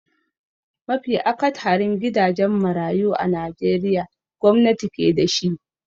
Mafi akatharin gidajen marayu a najeriya gwamnati ke da shi.